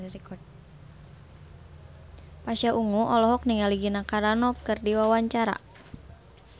Pasha Ungu olohok ningali Gina Carano keur diwawancara